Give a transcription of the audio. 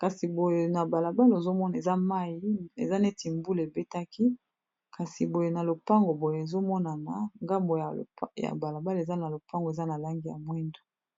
kasi boye na balabala ozomona eza mai eza neti mbule ebetaki kasi boye na lopango boye ezomonana ngambo ya balabala eza na lopango eza na langi ya mwindu